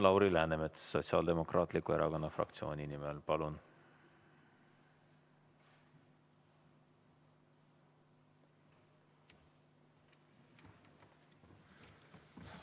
Lauri Läänemets Sotsiaaldemokraatliku Erakonna fraktsiooni nimel, palun!